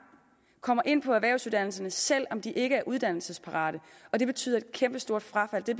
kommer ind på erhvervsuddannelserne selv om de ikke er uddannelsesparate og det betyder et kæmpe stort frafald det